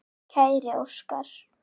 Kæri Óskar.